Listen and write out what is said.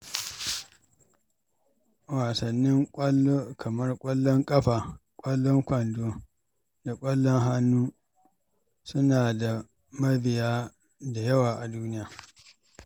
Wasannin ƙwallo kamar ƙwallon ƙafa, ƙwallon kwando, da ƙwallon hannu suna da mabiya da yawa a duniya.